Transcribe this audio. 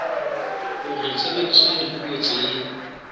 hore tshebediso ya dipuo tse